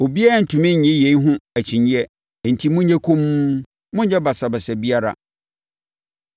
Obiara rentumi nnye yei ho akyinnyeɛ enti monyɛ komm, monnyɛ basabasa biara.